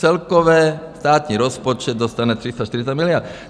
Celkově státní rozpočet dostane 340 miliard.